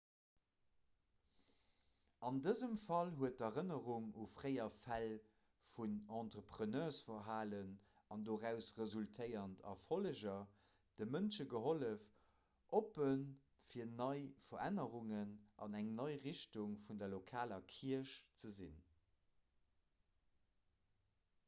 an dësem fall huet d'erënnerung u fréier fäll vun entrepreneursverhalen an doraus resultéierend erfolleger de mënsche gehollef oppe fir nei verännerungen an eng nei richtung vun der lokaler kierch ze sinn